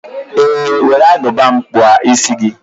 Ee were Agụba m kpụọ isi gị.